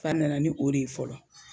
Fa nana ni o de ye fɔlɔ